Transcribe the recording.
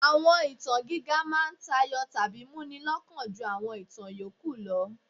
Àwọn ìtàn gíga máa ń tayọ tàbí múni lọ́kàn ju àwọn ìtàn yòókù lọ.